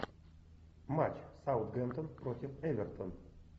матч саутгемптон против эвертон